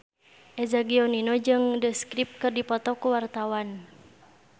Eza Gionino jeung The Script keur dipoto ku wartawan